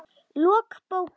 Lok bókar